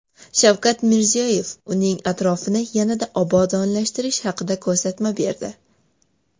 Shavkat Mirziyoyev uning atrofini yanada obodonlashtirish haqida ko‘rsatma berdi.